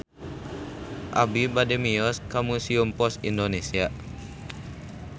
Abi bade mios ka Museum Pos Indonesia